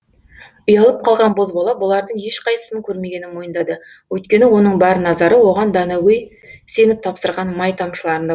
ұялып қалған бозбала бұлардың ешқайсысын көрмегенін мойындады өйткені оның бар назары оған данагөй сеніп тапсырған май тамшыларында